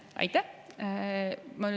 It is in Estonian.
Aitäh!